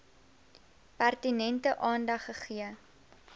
pertinente aandag gegee